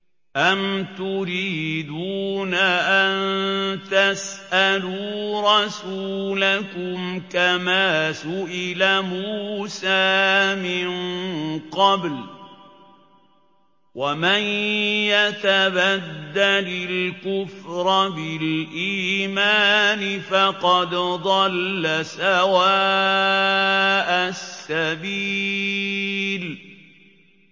أَمْ تُرِيدُونَ أَن تَسْأَلُوا رَسُولَكُمْ كَمَا سُئِلَ مُوسَىٰ مِن قَبْلُ ۗ وَمَن يَتَبَدَّلِ الْكُفْرَ بِالْإِيمَانِ فَقَدْ ضَلَّ سَوَاءَ السَّبِيلِ